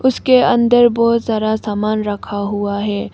उसके अंदर बहोत सारा सामान रखा हुआ है।